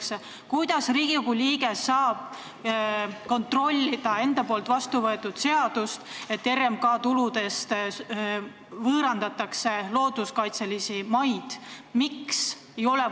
Ning kuidas Riigikogu liikmed saavad kontrollida enda poolt vastu võetud seadust, et RMK tuludest makstakse kinni looduskaitseliste piirangutega maade võõrandamist?